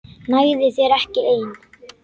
Nægði þér ekki ein?